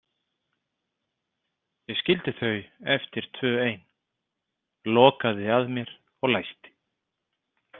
Ég skildi þau eftir tvö ein, lokaði að mér og læsti.